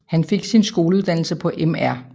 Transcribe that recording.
Han fik sin skoleuddannelse på Mr